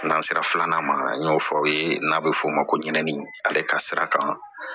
N'an sera filanan ma an y'o fɔ aw ye n'a bɛ f'o ma ko ɲinani ale ka sira kan